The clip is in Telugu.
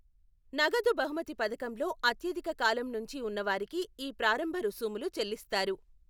నగదు బహుమతి పథకంలో అత్యధిక కాలం నుంచి ఉన్నవారికి ఈ ప్రారంభ రుసుములు చెల్లిస్తారు.